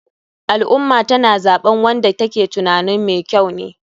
Al ummah tana zaɓen wanda ta ke tunanin me kyau ne.